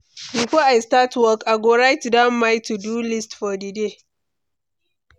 Before I start work, I go write down my to-do list for di day.